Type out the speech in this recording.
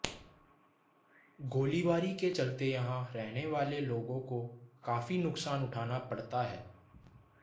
गोलीबारी के चलते यहाँ रहने वाले लोगों को काफ़ी नुकसान उठना पड़ता है